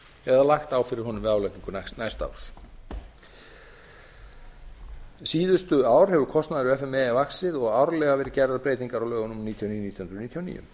eða lagt á fyrir honum við álagningu næsta árs síðustu ár hefur kostnaður f m e vaxið og árlega verið gerðar breytingar á lögum númer níutíu og níu nítján hundruð níutíu og níu